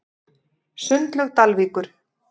Sundlaug Dalvíkur